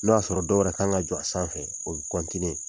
N' y'a sɔrɔ dɔ wɛrɛ kan ka jɔ a sanfɛ o